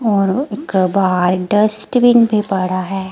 और उका बाहर डस्टबिन भी पड़ा है।